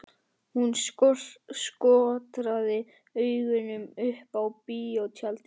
Hún skotraði augunum upp á bíótjaldið.